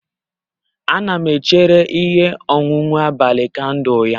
Ana m echere ihe onwunwe abalị kandụl ya